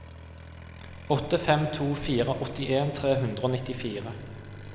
åtte fem to fire åttien tre hundre og nittifire